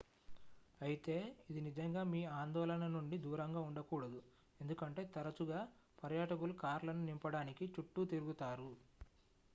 అయితే ఇది నిజంగా మీ ఆందోళన నుండి దూరంగా ఉండకూడదు ఎందుకంటే తరచుగా పర్యాటకులు కార్లను నింపడానికి చుట్టూ తిరుగుతారు